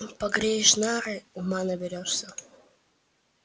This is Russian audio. нумпогреешь нары ума наберёшься